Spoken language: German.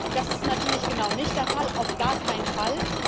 Das ist natürlich genau nicht der Fall, auf gar keinen Fall.